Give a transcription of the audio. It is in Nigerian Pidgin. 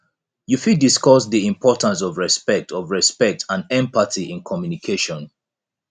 you fit discuss di importance of respect of respect and empathy in communication